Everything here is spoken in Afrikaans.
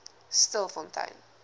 stilfontein